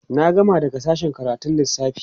na gama daga sashen karatun Lissafi